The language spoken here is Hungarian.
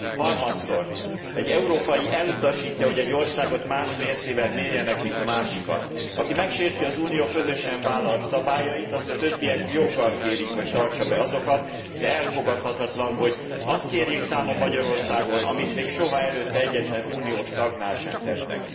javítani. Harmadszor, egy európai elutasítja, hogy egy országot más mércével mérjenek mint egy másikat. Aki megsérti az Unió közösen vállalt szabályait, azt a többiek joggal kérik, hogy tartsa be azokat, de elfogadhatatlan, hogy azt kérjék számon Magyarországon, amit még soha előtte egyetlen uniós tagnál sem